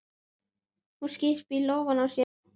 Hún skyrpir í lófana á sér.